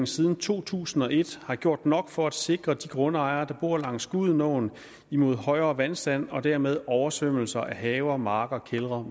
siden to tusind og et har gjort nok for at sikre de grundejere der bor langs gudenåen imod højere vandstand og dermed oversvømmelser af haver marker og kældre